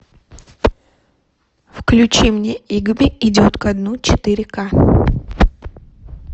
включи мне игби идет ко дну четыре ка